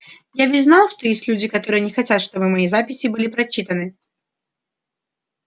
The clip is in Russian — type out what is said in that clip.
я ведь знал что есть люди которые не хотят чтобы мои записи были прочитаны